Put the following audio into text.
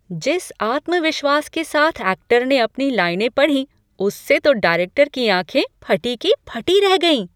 जिस आत्मविश्वास के साथ ऐक्टर ने अपनी लाइनें पढ़ीं, उससे तो डायरेक्टर की आंखें फटी की फटी रह गईं।